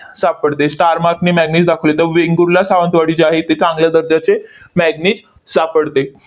सापडते. star mark ने manganese दाखवले. त वेंगुर्ला, सावंतवाडी जे आहे इथे चांगल्या दर्जाचे manganese सापडते,